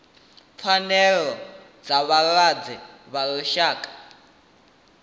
pfanelo dza vhalwadze ḽa lushaka